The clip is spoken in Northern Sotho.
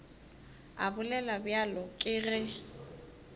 a bolela bjalo ke ge